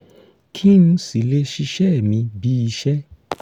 kí n si le ṣiṣẹ mi bí iṣẹ